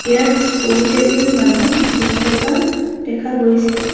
ইয়াত বহুকেইজন মানু্হ বহি থকা দেখা গৈছে।